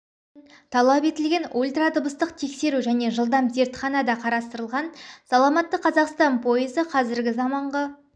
үшін талап етілген ультрадыбыстық тексеру және жылдам зертхана да қарастырылған саламатты қазақстан пойызы қазіргі заманғы